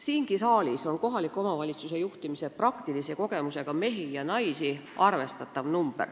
Siingi saalis on kohaliku omavalitsuse juhtimise praktilise kogemusega mehi ja naisi arvestatav hulk.